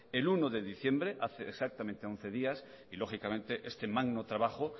el uno de diciembre hace exactamente once días y lógicamente este magno trabajo